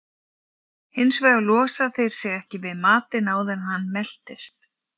Hins vegar losa þeir sig ekki við matinn áður en hann meltist.